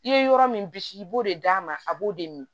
I ye yɔrɔ min bisi i b'o de d'a ma a b'o de min